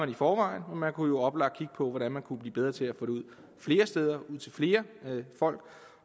i forvejen men man kunne jo oplagt kigge på hvordan vi kunne blive bedre til at få det ud flere steder og til flere folk